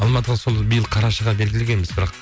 алматыға сол биыл қарашаға белгілегенбіз бірақ